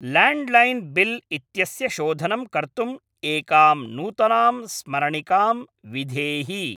Landline bill इत्यस्य शोधनं कर्तुम् एकां नूतनां स्मरणिकां विधेहि।